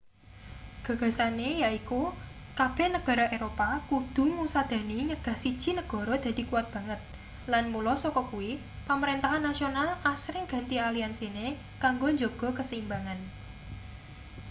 gagasane yaiku kabeh negara eropa kudu ngusadani nyegah siji negara dadi kuwat banget lan mula saka kuwi pamrentahan nasional asring ganti aliansine kanggo njaga kaseimbangan